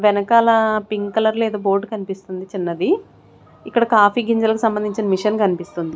వెనకాల pink colour లో ఏదో బోర్డు కనిపిస్తుంది చిన్నది ఇక్కడ కాఫీ గింజలకు సంబంధించిన మిషన్ కనిపిస్తుంది.